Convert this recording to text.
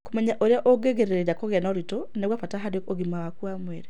Kũmenya ũrĩa ũngĩĩgirĩrĩria kũgĩa na ũritũ nĩ kwa bata harĩ ũgima waku wa mwĩrĩ.